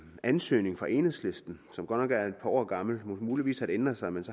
ansøgning fra enhedslisten som godt nok er et par år gammel muligvis ændret sig men